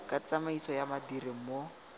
ka tsamaiso ya badiri mo